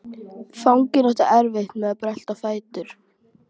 Fanginn átti erfitt með að brölta á fætur.